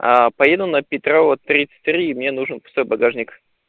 поеду на петрова тридцать три мне нужен пустой багажник